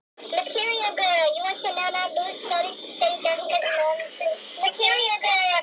Hendrikka, hvernig er veðurspáin?